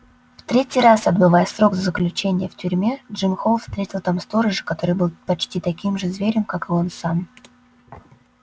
в третий раз отбывая срок заключения в тюрьме джим холл встретил там сторожа который был почти таким же зверем как и он сам